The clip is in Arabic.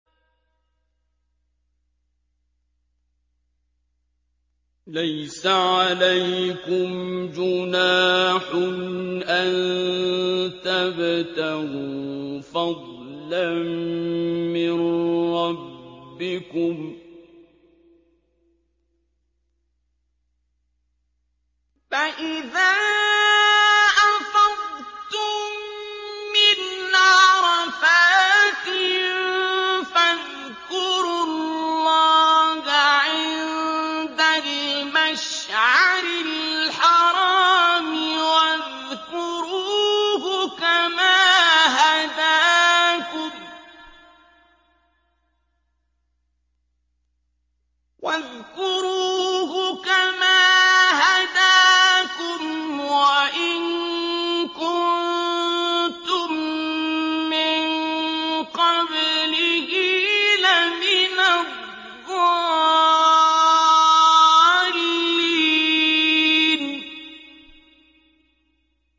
لَيْسَ عَلَيْكُمْ جُنَاحٌ أَن تَبْتَغُوا فَضْلًا مِّن رَّبِّكُمْ ۚ فَإِذَا أَفَضْتُم مِّنْ عَرَفَاتٍ فَاذْكُرُوا اللَّهَ عِندَ الْمَشْعَرِ الْحَرَامِ ۖ وَاذْكُرُوهُ كَمَا هَدَاكُمْ وَإِن كُنتُم مِّن قَبْلِهِ لَمِنَ الضَّالِّينَ